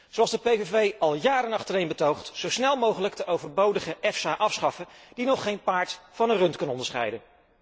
Zoals de PVV al jaren achtereen betoogt, zo snel mogelijk de overbodige EFSA afschaffen, die nog geen paard van een rund kan onderscheiden.